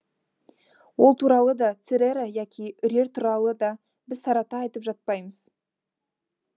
ол туралы да церера яки үрер туралы да біз тарата айтып жатпаймыз